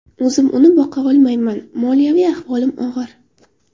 O‘zim uni boqa olmayman, moliyaviy ahvolim og‘ir”.